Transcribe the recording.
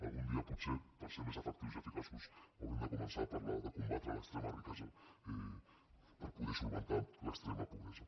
algun dia potser per ser més efectius i eficaços haurem de començar a parlar de combatre l’extrema riquesa per poder solucionar l’extrema pobresa